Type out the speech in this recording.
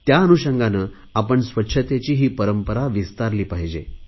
त्या अनुषंगाने आपण स्वच्छतेची ही पंरपरा विस्तारली पाहिजे